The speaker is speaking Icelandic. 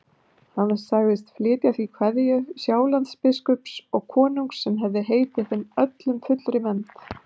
Hann sagðist flytja því kveðju Sjálandsbiskups og konungs sem hefði heitið þeim öllum fullri vernd.